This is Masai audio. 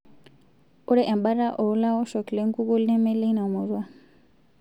Ore embata oo laoshok le nkukuo neme leina murua